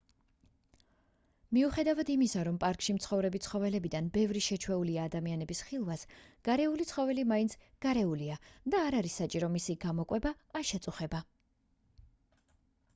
მიუხედავად იმისა რომ პარკში მცხოვრები ცხოველებიდან ბევრი შეჩვეულია ადამიანების ხილვას გარეული ცხოველი მაინც გარეულია და არ არის საჭირო მისი გამოკვება ან შეწუხება